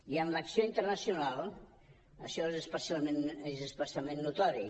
i en l’acció internacional això és especialment notori